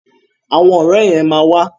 Àwọn ọ̀rẹ́ yẹn ma wà.